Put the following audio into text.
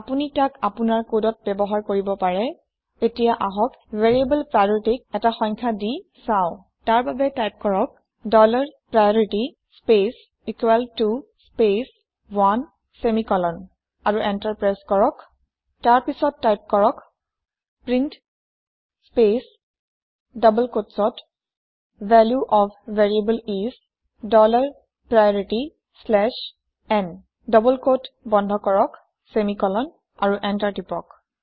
আপুনি তাক আপুনাৰ কদত ব্যৱহাৰ কৰিব পাৰে এতিয়া আহক ভেৰিয়েবল priorityক এটা সংখ্যা দি চাওঁ তাৰ বাবে টাইপ কৰক dollar priority space equal to space one semicolon আৰু এন্টাৰ প্ৰেছ কৰক তাৰ পাছত টাইপ কৰক print space double quote value of variable is dollar priority slash n ঊৰ্ধ কমা বন্ধ কৰক ছেমিকলন আৰু এন্টাৰ প্ৰেছ কৰক